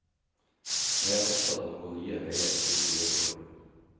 Jeg er opptatt av å gå nye veier, slik vi gjør i år.